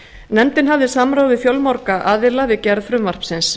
nefndin hafði samráð við fjölmarga aðila við gerð frumvarpsins